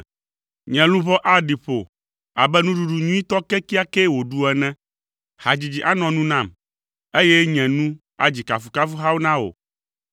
Nye luʋɔ aɖi ƒo abe nuɖuɖu nyuitɔ kekeakee wòɖu ene; hadzidzi anɔ nu nam, eye nye nu adzi kafukafuhawo na wò.